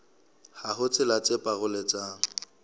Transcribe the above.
ha ho tsela tse paroletsang